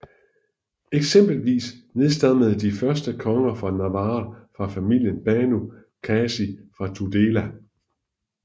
Eksempelvis nedstammede de første konger af Navarra fra familien Banu Qasi fra Tudela